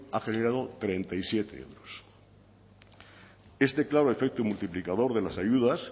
ha generado treinta y siete euros este claro efecto multiplicador de las ayudas